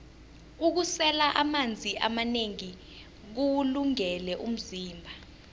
ukusela amanzi amanengi kuwulungele umzimba